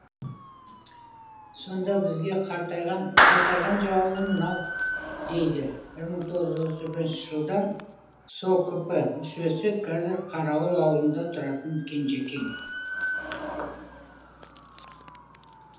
сонда бізге қайтарған жауабы мынау дейді мың тоғыз отыз бірінші жылдан сокп мүшесі қазір қарауыл ауылында тұратын кенжекең